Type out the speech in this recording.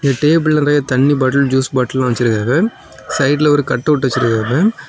Table நெறைய தண்ணீர் bottle juice பாட்டில்ல வச்சிருக்காங்க சைடுல ஒரு கட்டவுட் வச்சிருக்காங்க.